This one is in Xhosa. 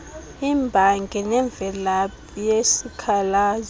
imbangi nemvelaphi yesikhalazo